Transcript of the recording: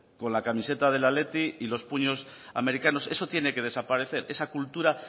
con la camiseta del athletic y los puños americanos eso tiene que desaparecer esa cultura